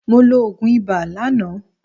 Mo lo òògùn ibà lánàá.